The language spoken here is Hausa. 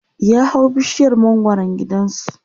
ya hau bishiyar mangwaran gidansu